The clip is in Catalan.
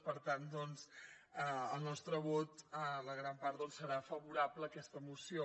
per tant doncs el nostre vot la gran part serà favorable a aquesta moció